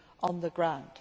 on the ground